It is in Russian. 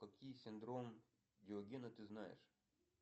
какие синдром диогена ты знаешь